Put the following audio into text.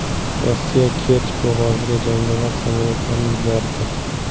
Rossiya Kerch bo‘g‘oziga jangovar samolyotlarini yubordi.